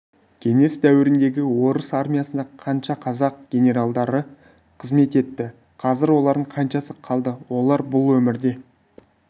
кеңес дәуіріндегі орыс армиясында қанша қазақ генералдары қызмет етті қазір олардың қаншасы қалды олар бұл өмірде